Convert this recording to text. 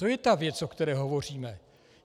To je ta věc, o které hovoříme.